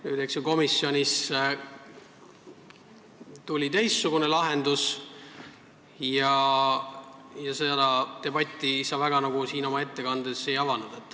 Nüüd sündis komisjonis teistsugune lahendus ja seda debatti sa oma ettekandes eriti ei avanud.